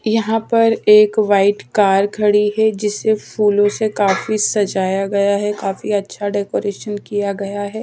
यहां पर एक व्हाइट कार खड़ी है जिसे फूलों से काफी सजाया गया है काफी अच्छा डेकोरेशन किया गया है।